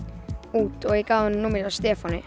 út og ég gaf honum númerið hjá Stefáni